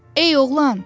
Ey oğlan!